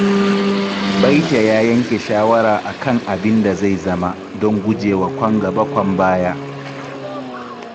Baita ya yanke shawara a kan abin da zai zama, domin guje wa kwan-gaba-kwan-baya.